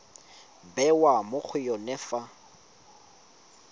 bewa mo go yone fa